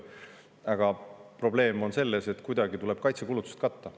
Aga probleem on selles, et kuidagi tuleb kaitsekulutused katta.